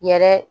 Yɛrɛ